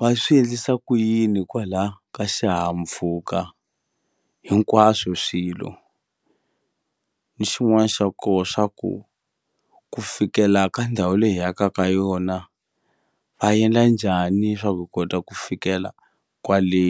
va swi endlisa ku yini kwala ka xihahampfhuka hinkwaswo swilo ni xin'wani xa ko swa ku ku fikela ka ndhawu leyi hi yaka ka yona va endla njhani swa ku hi kota ku fikela kwale.